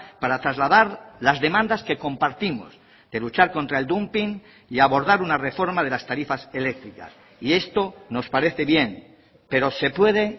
para trasladar las demandas que compartimos de luchar contra el dumping y abordar una reforma de las tarifas eléctricas y esto nos parece bien pero se puede